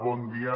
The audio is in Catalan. bon dia